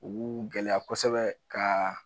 U k'u gɛlɛya kosɛbɛ ka